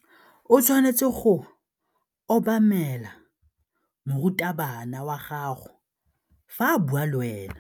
O tshwanetse go obamela morutabana wa gago fa a bua le wena.